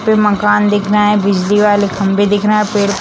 यहां पे मकान दिख रहा है बिजली वाले खंभे दिख रहे है पेड़--